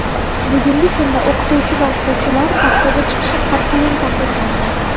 Bugungi kunda o‘qituvchi va o‘quvchilar paxtaga chiqishi qat’iyan taqiqlangan.